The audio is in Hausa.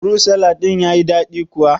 Furut salad din ya yi daɗi kuwa?